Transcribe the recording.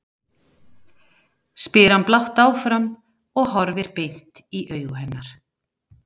spyr hann blátt áfram og horfir beint inn í augu hennar.